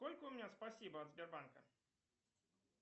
сколько у меня спасибо от сбербанка